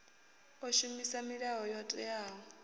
o shumisa milayo yo teaho